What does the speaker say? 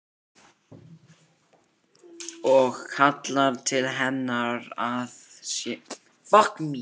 Og kallar til hennar að hún sé að koma.